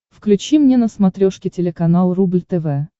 включи мне на смотрешке телеканал рубль тв